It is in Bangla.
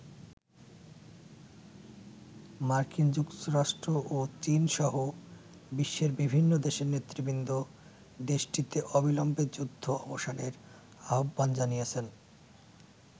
মার্কিন যুক্তরাষ্ট্র ও চীন সহ বিশ্বের বিভিন্ন দেশের নেতৃবৃন্দ দেশটিতে অবিলম্বে যুদ্ধ অবসানের আহ্বান জানিয়েছেন।